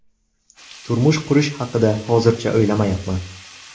Turmush qurish haqida hozircha o‘ylamayapman.